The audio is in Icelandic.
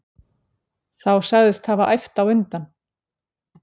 Þá sagðist hafa æft á undan.